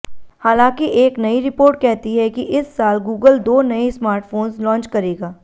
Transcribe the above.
हालाँकि एक नई रिपोर्ट कहती है कि इस साल गूगल दो नए स्मार्टफोंस लॉन्च करेगा